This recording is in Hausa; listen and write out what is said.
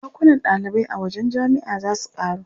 Ɗakunan ɗalibai a wajen jami'a za su ƙaru.